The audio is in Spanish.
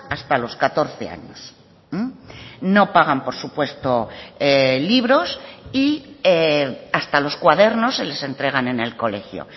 hasta los catorce años no pagan por supuesto libros y hasta los cuadernos se les entregan en el colegio